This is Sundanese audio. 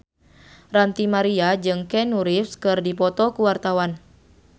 Ranty Maria jeung Keanu Reeves keur dipoto ku wartawan